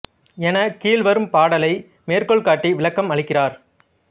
என கீழ் வரும் பாடலை மேற்கோள் காட்டி விளக்கம் அளிக்கிறார்